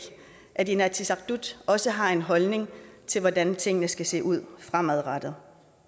at inatsisartut også har en holdning til hvordan tingene skal se ud fremadrettet